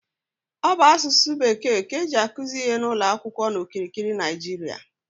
Ọ bụ asụsụ bekee ka eji akuzi ihe n'ụlọ akwụkwọ n'okirikiri Naịjiria